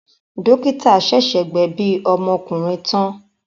Dọ́kítá ṣẹ̀ṣẹ̀ gbẹ̀bi ọmọkùnrin tán.